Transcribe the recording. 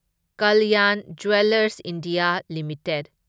Kalyan jewellers India limited